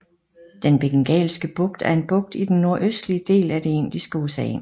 Den Bengalske Bugt er en bugt i den nordøstlige del af det Indiske Ocean